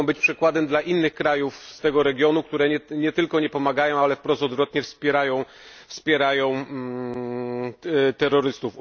Mogą być przykładem dla innych krajów z tego regionu, które nie tylko nie reagują, ale wprost odwrotnie wspierają terrorystów.